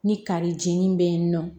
Ni kari jeni be yen nɔ